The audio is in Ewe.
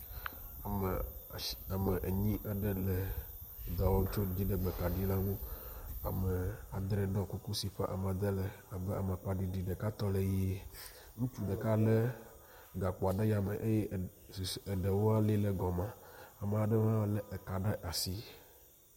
Ame ashi ame enyi aɖe le dɔ wɔm tso dziɖegbe kaɖi la ŋu. Ame adre ɖɔ kuku si ƒe amade le abe amakpa ɖiɖi. Ɖeka tɔ le ʋie. Ŋutsu ɖeka lé gakpoa ɖe yame eye du eɖewo lé ɖe gɔme. Ame aɖewo hã lé ka ɖe asi.